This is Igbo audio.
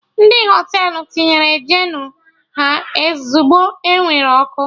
Ndị Họtelụ tinyere Jenụ ha ozigbo ewere ọkụ